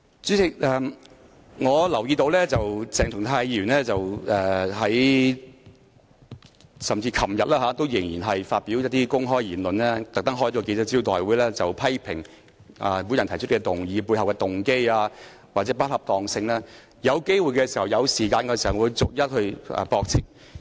主席，我留意到鄭松泰議員昨天仍在發表一些公開言論，並特別召開記者招待會批評我提出這項議案背後的動機或不恰當性，當我有機會和時間時會逐一駁斥。